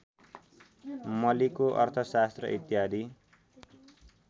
मलीको अर्थशास्त्र इत्यादि